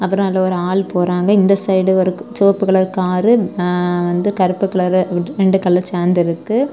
அப்ரோ அதுல ஒரு ஆள் போறாங்க இந்த சைடு ஓரு சுவப்பு கலர்ரு வந்து கருப்பு கலரு ரெண்டு கலரு சேந்ததிருக்கு.